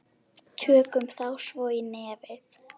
Tökum þá svo í nefið!